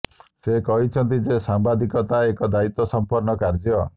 ସେ କହିଛନ୍ତି ଯେ ସାମ୍ବାଦିକତା ଏକ ଦାୟିତ୍ୱ ସମ୍ପନ୍ନ କାର୍ଯ୍ୟ